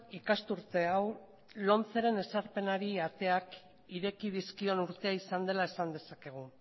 ikasturte hau lomceren ezarpenari ateak ireki dizkion urtea izan dela esan dezakegu